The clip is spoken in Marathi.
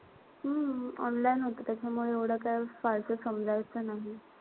हम्म online होत त्यामुळे एवढं काई फारसं समजायचं नाई.